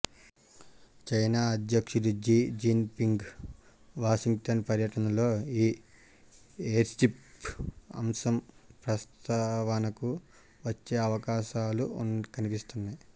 China అధ్యక్షుడు Xi Jinping Washington పర్యటనలో ఈ ఎయిర్స్ట్రిప్ అంశం ప్రస్తావనకు వచ్చే అవకాశాలు కనిపిస్తున్నాయి